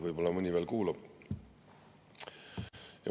Võib-olla mõni veel kuulab.